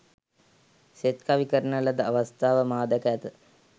සෙත්කවි කරන ලද අවස්ථා මා දැක ඇත.